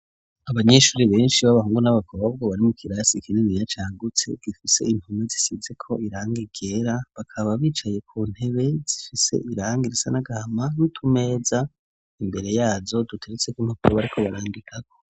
Abanyeshuri benshi b'abahungu n'abakobwa bwo barimu kirasi ikinini yacagutse gifise impuma zisitse ko iranga ryera bakaba bicaye ku ntebe zifise iranga irisa n'agahama ntumeza imbere yazo duteretse ko impapuro bariko barandikako.